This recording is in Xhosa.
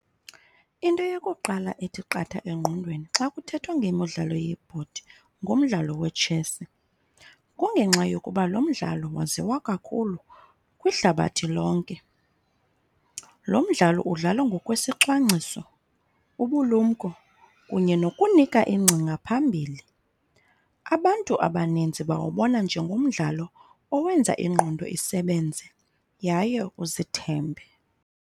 Into yokuqala ethi qatha engqondweni xa kuthethwa ngemidlalo yebhodi ngumdlalo wetshesi. Kungenxa yokuba lo mdlalo waziwa kakhulu kwihlabathi lonke. Lo mdlalo udlalwa ngokwesicwangciso, ubulumko kunye nokunika ingcinga phambili. Abantu abaninzi bawubona njengomdlalo owenza ingqondo isebenze yaye uzithembe.